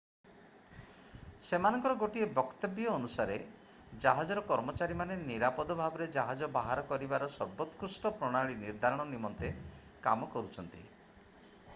ସେମାନଙ୍କର ଗୋଟିଏ ବକ୍ତବ୍ୟ ଅନୁସାରେ ଜାହାଜର କର୍ମଚାରୀମାନେ ନିରାପଦ ଭାବରେ ଜାହାଜ ବାହାର କରିବାର ସର୍ବୋତ୍କୃଷ୍ଟ ପ୍ରଣାଳୀ ନିର୍ଦ୍ଧାରଣ ନିମନ୍ତେ କାମ କରୁଛନ୍ତି